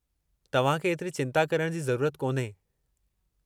तव्हां खे एतिरी चिंता करण जी ज़रूरत कोन्हे!